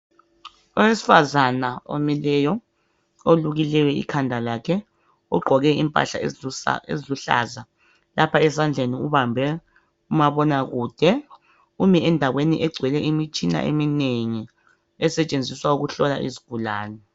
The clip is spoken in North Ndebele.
Owesifazana omileyo olukileyo ikhanda lakhe ugqoke impahla eziluhlaza. Lapha ezandleni ubambe umabonakude umi endaweni egcwel imitshina eminengi esetshenziswa ukuhlola izigulane.